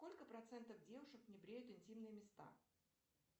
сколько процентов девушек не бреют интимные места